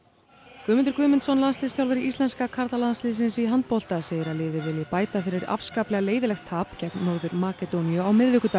Guðmundur Guðmundsson landsliðsþjálfari íslenska karlalandsliðsins í handbolta segir að liðið vilji bæta fyrir afskaplega leiðinlegt tap gegn Norður Makedóníu á miðvikudag